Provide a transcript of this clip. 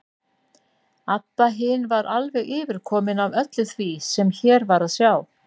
Abba hin var alveg yfirkomin af öllu því sem hér var að sjá.